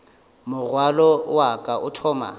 morwalo wa ka o thoma